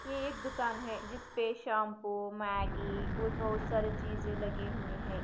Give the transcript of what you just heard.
ये एक दुकान है जिसपे शैम्पू मैगी कुछ बहुत सारे चीजे लगे हुए है।